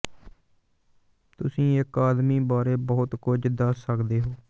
ਤੁਸੀਂ ਇੱਕ ਆਦਮੀ ਬਾਰੇ ਬਹੁਤ ਕੁਝ ਦੱਸ ਸਕਦੇ ਹੋ